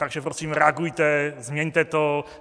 Takže prosím reagujte, změňte to.